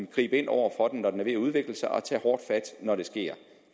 gribe ind over for den når den er ved at udvikle sig og tage hårdt fat når det sker